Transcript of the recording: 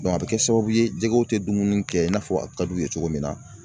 a bɛ kɛ sababu ye jɛgɛw tɛ dumuni kɛ i n'a fɔ a ka d'u ye cogo min na.